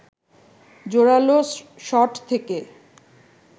জোরালো শট থেকে